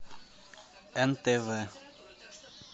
нтв